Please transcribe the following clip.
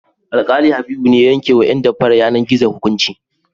Alƙali Habibu ne ya yankewa ƴan damfarar yanar-gizo hukunci.